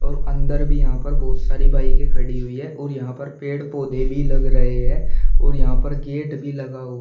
और अंदर भी यहां पर बहुत सारी बाइके खड़ी हुई है और यहां पर पेड़ पौधे भी लग रहे हैं और यहां पर गेट भी लगा हुआ--